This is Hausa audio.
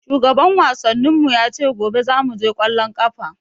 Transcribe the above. Shugaban wasannin mu ya ce gobe zamu je ƙwallon ƙafa.